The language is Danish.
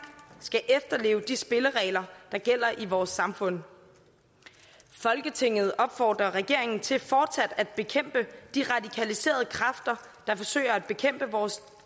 skal efterleve de spilleregler der gælder i vores samfund folketinget opfordrer regeringen til fortsat at bekæmpe de radikaliserede kræfter der forsøger at bekæmpe vores